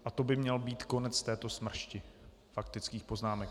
A to by měl být konec této smršti faktických poznámek.